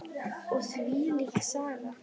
Og þvílík saga!